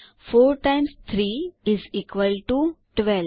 4 times 3 is equal to 12